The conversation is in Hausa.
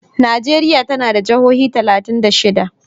Najeriya tana da jihohi talatin da shida.